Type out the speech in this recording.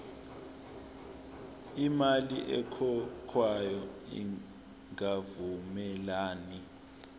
imali ekhokhwayo ingavumelani